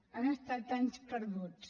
han estat anys perduts